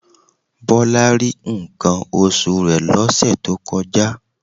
Bọlá rí nǹkan oṣù rẹ̀ lọ́sẹ̀ tó kọjá